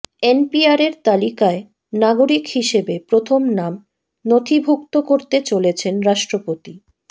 এনপিআরের তালিকায় নাগরিক হিসেবে প্রথম নাম নথিভুক্ত করতে চলেছেন রাষ্ট্রপতি